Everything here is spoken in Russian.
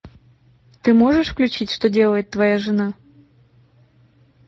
ты можешь включить что делает твоя жена